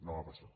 no va passar